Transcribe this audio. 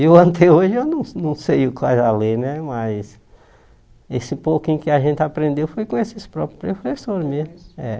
Eu até hoje eu não não sei quase a ler né, mas esse pouquinho que a gente aprendeu foi com esses próprios professores mesmo. É